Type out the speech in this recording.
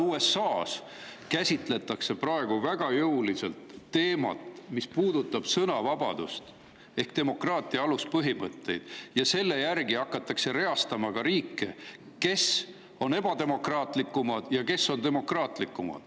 USA‑s käsitletakse praegu väga jõuliselt teemat, mis puudutab sõnavabadust ehk demokraatia aluspõhimõtet, ja riike hakatakse reastama selle järgi, kas nad on ebademokraatlikud või demokraatlikud.